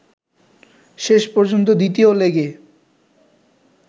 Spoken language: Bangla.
শেষ পর্যন্ত দ্বিতীয় লেগে